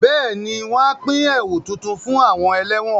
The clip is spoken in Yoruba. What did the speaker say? Bẹ́ẹ̀ni, wọn a pín ẹ̀wu tuntun fún àwọn ẹlẹ́wọ̀n